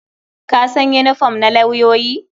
Ka san yinifom na lauyoyi?